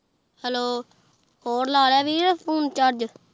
Hello ਹੋਰ ਲਾ ਲਾਯਾ ਵੀਰ ਫੋਨੇ ਚਾਰ੍ਗੇ